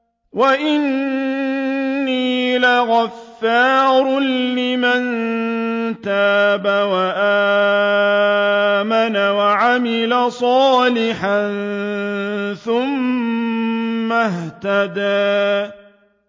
وَإِنِّي لَغَفَّارٌ لِّمَن تَابَ وَآمَنَ وَعَمِلَ صَالِحًا ثُمَّ اهْتَدَىٰ